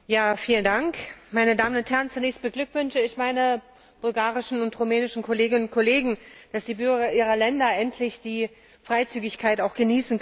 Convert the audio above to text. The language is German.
Herr Präsident, meine Damen und Herren! Zunächst beglückwünsche ich meine bulgarischen und rumänischen Kolleginnen und Kollegen dazu, dass die Bürger ihrer Länder endlich auch die Freizügigkeit genießen können!